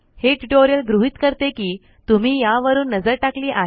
हे ट्यूटोरियल गृहीत करते कि तुम्ही यावरून नजर टाकली आहे